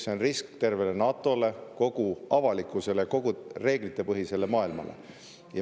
See on risk tervele NATO‑le, kogu avalikkusele, kogu reeglitepõhisele maailmale.